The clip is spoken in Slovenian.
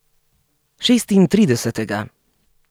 Šestintridesetega.